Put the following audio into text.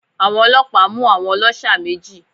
Àwọn ọlọ́pàá mú àwọn ọlọ́ṣà méjì